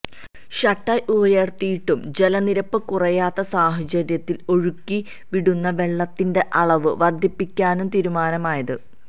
shutter ഉയര്ത്തിയിട്ടും ജലനിരപ്പ് കുറയാത്ത സാഹചര്യത്തില് ഒഴുക്കി വിടുന്ന വെള്ളത്തിന്റെ അളവ് വര്ധിപ്പിക്കാനും തീരുമാനമായത്